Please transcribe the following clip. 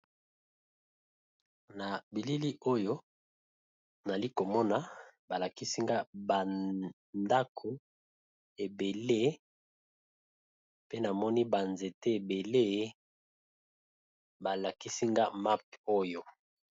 Na bilili oyo nalikomona balakisinga bandako ebele pe namoni banzete ebele balakisinga mapp oyo.